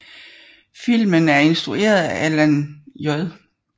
Filmen er instrueret af Alan J